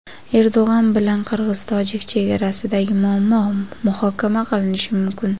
Erdo‘g‘an bilan qirg‘iz-tojik chegarasidagi muammo muhokama qilinishi mumkin.